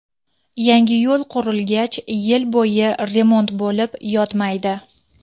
yangi yo‘l qurilgach yil bo‘yi remont bo‘lib yotmaydi.